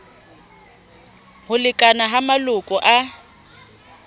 ho lekana ha maloko a